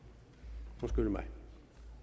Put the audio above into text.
i mig